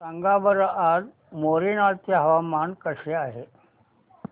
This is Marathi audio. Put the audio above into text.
सांगा बरं आज मोरेना चे हवामान कसे आहे